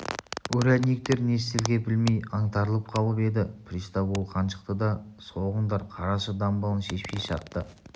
урядниктер не істерге білмей аңтарылып қалып еді пристав ол қаншықты да соғыңдар қарашы дамбалын шешпей шартты